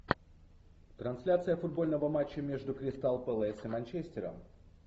трансляция футбольного матча между кристал пэлас и манчестером